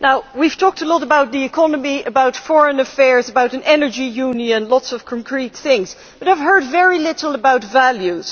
We have talked a lot about the economy, about foreign affairs, about an energy union lots of concrete things but I have heard very little about values.